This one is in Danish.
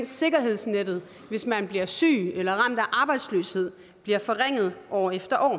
sikkerhedsnettet hvis man bliver syg eller ramt af arbejdsløshed bliver forringet år efter år